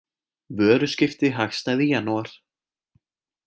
Vöruskipti hagstæð í janúar